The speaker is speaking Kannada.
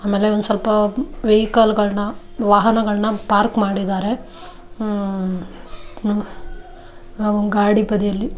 ಆಮೇಲೆ ಸ್ವಲ್ಪ ವೆಹಿಕಲ್ಗ ಳನ್ನ ವಾಹನಗಳನ್ನ ಪಾರ್ಕ್ ಮಾಡಿದ್ದಾರೆ ಆಹ್‌ ಗಾಡಿ ಬದಿಯಲ್ಲಿ .